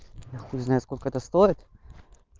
я хуй знает сколько это стоит